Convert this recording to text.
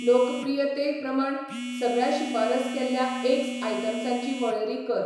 लोकप्रियते प्रमाण सगळ्या शिफारस केल्ल्या एग्स आयटम्सांची वळेरी कर.